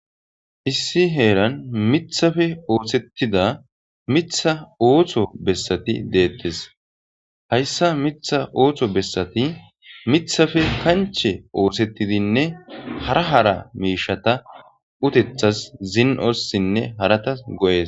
Isi heeran mithafe oosettida mitha ootho bessati deettes hayssa mitha ooththo bessati mithafe kanche oosettidinne hara hara miishata utethas zin7ossinne harata go7ees